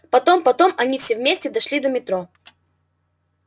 потом потом они все вместе дошли до метро